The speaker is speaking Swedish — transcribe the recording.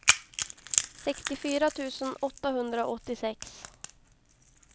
sextiofyra tusen åttahundraåttiosex